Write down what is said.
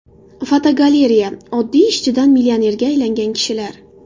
Fotogalereya: Oddiy ishchidan millionerga aylangan kishilar.